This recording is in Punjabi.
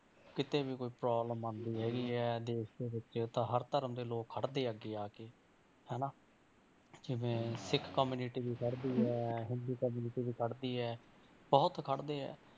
ਕਿਤੇ ਵੀ ਕੋਈ problem ਆਉਂਦੀ ਹੈਗੀ ਹੈ ਦੇਸ ਦੇ ਵਿੱਚ ਤਾਂ ਹਰ ਧਰਮ ਦੇ ਲੋਕ ਖੜਦੇ ਆ ਅੱਗੇ ਆ ਕੇ ਹਨਾ ਜਿਵੇਂ ਸਿੱਖ community ਵੀ ਖੜਦੀ ਹੈ, ਹਿੰਦੂ community ਵੀ ਖੜਦੀ ਹੈ ਬਹੁਤ ਖੜਦੇ ਹੈ